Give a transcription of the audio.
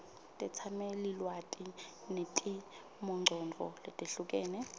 tetsamelilwati netimongcondvo letehlukene